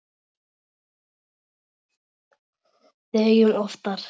Dögum oftar.